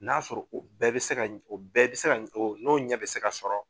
N'a sɔrɔ o bɛɛ bɛ se ka o bɛɛ bɛ se ka n'o ɲɛ bɛ se ka sɔrɔ